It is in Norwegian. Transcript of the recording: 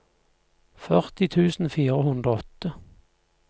førti tusen fire hundre og åtte